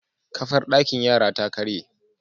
Kafar dakin yara ta karye